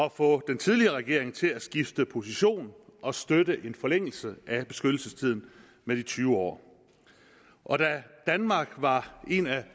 at få den tidligere regering til at skifte position og støtte en forlængelse af beskyttelsestiden med de tyve år og da danmark var en af